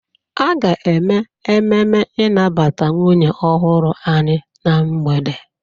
A ga-eme ememe ịnabata nwunye ọhụrụ anyị na mgbede.